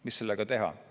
Mida ikkagi teha?